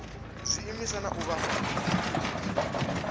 zwiimiswa na u vha fha